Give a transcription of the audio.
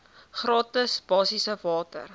gratis basiese water